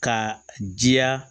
Ka jiya